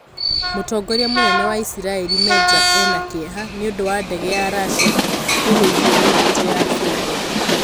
Mũtongoria mũnene wa Isiraĩri Meja eena kĩeha nĩ ũndũ wa ndege ya russia kũgũithio nĩ mbũtũ ya Syria.